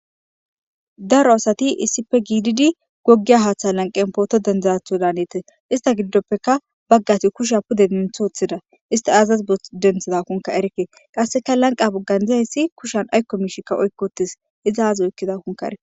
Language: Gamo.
daro asati issife giididi goggiya haaththa lanqen pooto dendizatho daanetes ista giddoppeka baggati kusha pude denthoothida isti azaz denthida kunka erekke qasseka lanqa buggan dizayssi kushan aykko miishikka oykkootis izi azi oykkidakoonkka erike